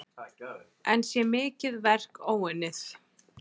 Enn sé mikið verk óunnið.